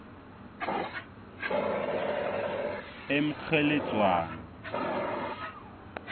emkgheledzwana